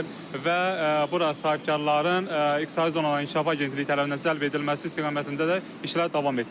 Və bura sahibkarların İqtisadi Zonaların İnkişafı Agentliyi tərəfindən cəlb edilməsi istiqamətində də işlər davam etdirilir.